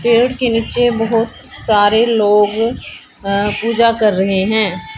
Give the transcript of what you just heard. पेड़ के नीचे बहोत सारे लोग अ पूजा कर रहे हैं।